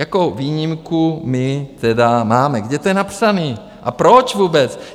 Jako výjimku my tedy máme, kde to je napsaný, a proč vůbec?